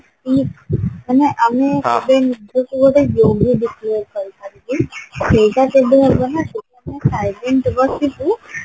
ମାନେ ଆମେ କେବେ ନିଜକୁ ଗୋଟେ ସେଇଟା ହବ ହବ ନା silent ବସିବୁ